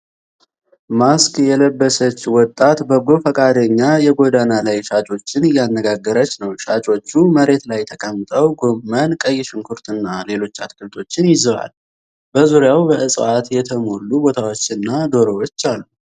ማስክ የለበሰች ወጣት በጎ ፈቃደኛ የጎዳና ላይ ሻጮችን እያነጋገረች ነው። ሻጮቹ መሬት ላይ ተቀምጠው ጎመን፣ ቀይ ሽንኩርት እና ሌሎች አትክልቶችን ይዘዋል። በዙሪያው በእጽዋት የተሞሉ ቦታዎች እና ዶሮዎች አሉ።